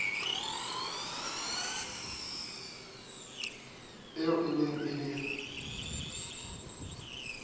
eo e neng e le